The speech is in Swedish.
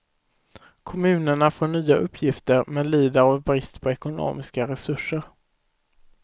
Kommunerna får nya uppgifter men lider av brist på ekonomiska resurser.